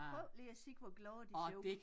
Prøv lige at se hvor glade de ser ud